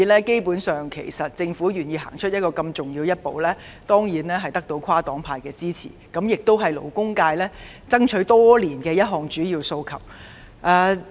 基本上，政府願意走出如此重要的一步，當然得到跨黨派的支持，這亦是勞工界爭取多年的一項主要訴求。